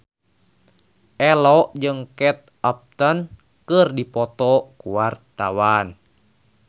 Ello jeung Kate Upton keur dipoto ku wartawan